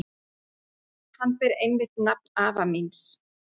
Hann ber einmitt nafn afa míns.